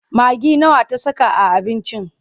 Magi nawa ta saka a abincin?